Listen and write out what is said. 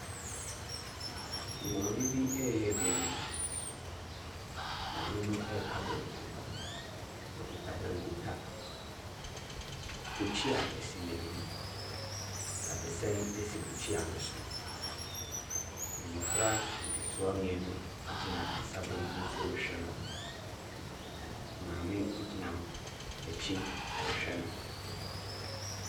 Maame bi reyɛ aduane. Maame no reka banku. Ɔkita bankuta. Bukyia si n'anim. Dadesɛn si bukyia no so. Mmɔfra nketewa mmienu gyina ne nsa benkum so rehwɛ no. Maame bi gyina n'akyi rehwɛ no.